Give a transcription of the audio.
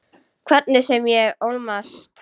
Hvernig sem ég ólmast.